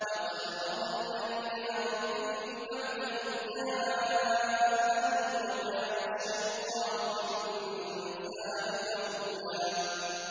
لَّقَدْ أَضَلَّنِي عَنِ الذِّكْرِ بَعْدَ إِذْ جَاءَنِي ۗ وَكَانَ الشَّيْطَانُ لِلْإِنسَانِ خَذُولًا